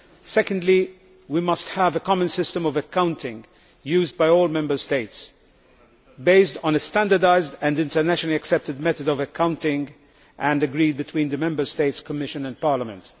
Secondly, we must have a common system of accounting used by all Member States, based on a standardised and internationally accepted method of accounting, and agreed between the Member States, Commission and Parliament.